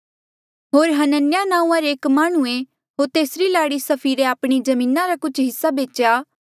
होर हनन्याह नांऊँआं रे एक माह्णुंऐ होर तेसरी लाड़ी सफीरे आपणी जमीना रा कुछ हिस्सा बेचेया